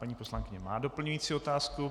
Paní poslankyně má doplňující otázku.